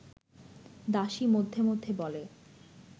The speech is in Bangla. দাসী মধ্যে মধ্যে বলে